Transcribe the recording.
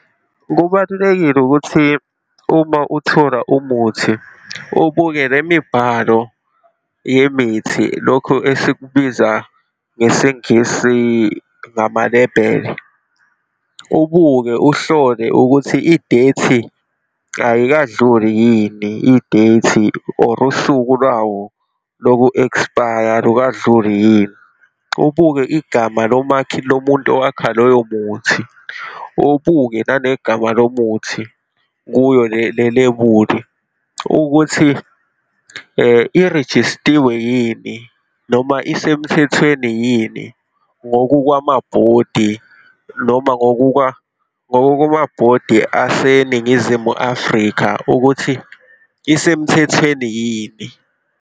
Kubalulekile ukuthi uma uthola umuthi, ubuke le mibhalo yemithi, lokhu esikubiza ngesiNgisi, ngamalebhele, ubuke uhlole ukuthi idethi ayikadluli yini, idethi or usuku lwawo loku-expire alukadluli yini, ubuke igama lomakhi, lomuntu owakha lowo muthi, obuke nanegama lomuthi kuyo le lebuli, ukuthi irejistiwe yini, noma isemthethweni yini ngokukwama-body, noma ngokukwama-body aseNingizimu Afrika ukuthi isemthethweni yini.